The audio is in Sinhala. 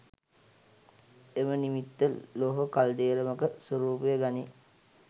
එම නිමිත්ත ලෝහ කල්දේරමක ස්වරූපය ගනී.